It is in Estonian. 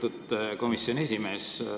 Lugupeetud komisjoni esimees!